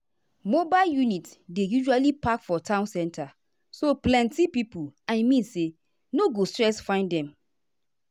mobile units dey usually park for town center so plenty people i mean say no go stress find them.